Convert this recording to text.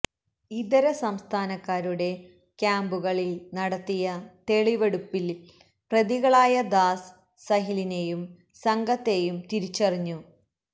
ഇതര സംസ്ഥാഥാനക്കാരുടെ ക്യാമ്പുകളില് നടത്തിയ തെളിവെടുപ്പില് പ്രതികളായ ദാസ് സഹിലിനെയും സംഘത്തെയും തിരിച്ചറിഞ്ഞു